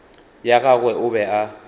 ya gagwe o be a